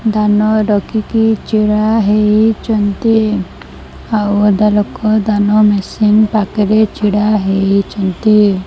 ଦାନ ରଖିକି ଛିଡ଼ା ହେଇଚନ୍ତି ଆଉ ଅଧା ଲୋକ ଦାନ ମେସିନ୍ ପାଖରେ ଛିଡା ହେଇଚନ୍ତି ।